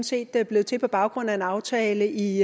set er blevet til på baggrund af en aftale i